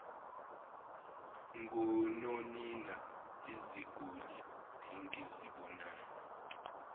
ngononina iziguli engizibonayo